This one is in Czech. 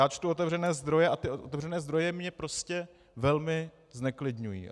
Já čtu otevřené zdroje a ty otevřené zdroje mě prostě velmi zneklidňují.